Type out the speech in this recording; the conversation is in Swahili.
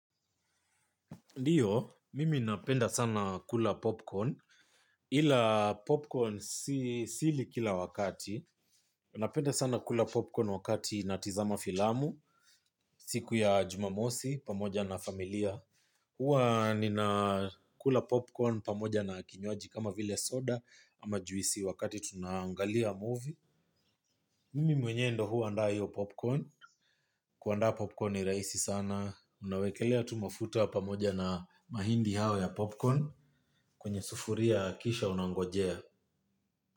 Ndio mimi napenda sana kula popcorn ila popcorn sili kila wakati napenda sana kula popcorn wakati natizama filamu siku ya jumamosi pamoja na familia huwa nina kula popcorn pamoja na kinywaji kama vile soda ama juisi wakati tunaangalia movie. Mimi mwenyewe ndio huandaa hiyo popcorn. Kuandaa popcorn ni rahisi sana. Unawekelea tu mafuta pamoja na mahindi hayo ya popcorn kwenye sufuria kisha unangojea.